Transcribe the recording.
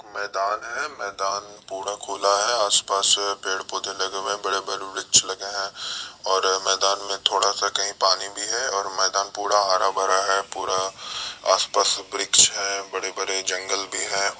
मैदान है मैदान पूरा खुला है आस-पास पेड़-पौधे लगे हुए हैं बड़े-बड़े वृक्ष लगे है और मैदान में थोड़ा सा कहीं पानी भी है और मैदान पूरा हरा-भरा है पूरा आस-पास वृक्ष है बड़े-बड़े जंगल भी हैं।